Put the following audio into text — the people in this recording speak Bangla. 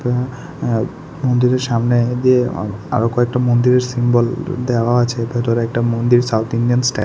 অ্যা মন্দিরের সামনে দিয়ে আ আরো কয়েকটা মন্দিরের সিম্বল দেওয়া আছে ভেতরে একটা মন্দির সাউথ ইন্ডিয়ান স্টাই--